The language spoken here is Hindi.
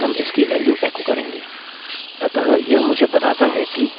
और फिर हम इसकी वेल्यू एको करेंगे